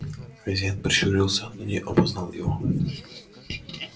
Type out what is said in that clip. хозяин прищурился но не опознал его